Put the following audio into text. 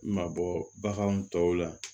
Mabɔ baganw tɔw la